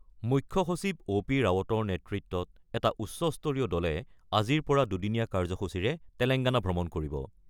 মুখ্য সচিব O P ৰাৱটৰ নেতৃত্বত এটা উচ্চস্তৰীয় দলে আজিৰ পৰা দুদিনীয়া কাৰ্যসূচীৰে তেলেংগানা ভ্ৰমণ কৰিব।